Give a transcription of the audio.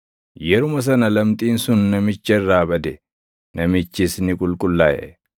Yeruma sana lamxiin sun namicha irraa bade; namichis ni qulqullaaʼe.